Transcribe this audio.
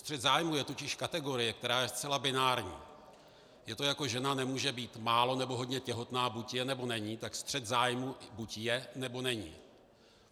Střet zájmů je totiž kategorie, která je zcela binární, je to jako žena nemůže být málo, nebo hodně těhotná, buď je, nebo není, tak střet zájmů buď je, nebo není.